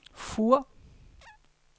Fur